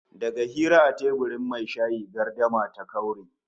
Daga hira a teburin mai shayi gardama ta kaure